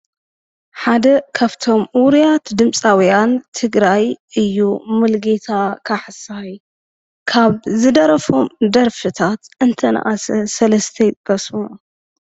ሓደ ካብቶም ውሩያት ድምፃውያን ትግራይ እዩ። ሙሉጌታ ካሕሳይ ካብ ዝደረፎም ደርፊታት እንተነኣሰ ሰለስተ ይጥቀሱ?